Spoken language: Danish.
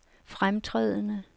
fremtrædende